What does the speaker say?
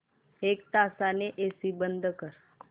एक तासाने एसी बंद कर